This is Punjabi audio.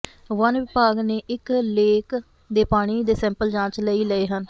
ਵਨ ਵਿਭਾਗ ਨੇ ਲੇਕ ਦੇ ਪਾਣੀ ਦੇ ਸੈਂਪਲ ਜਾਂਚ ਲਈ ਲਏ ਹਨ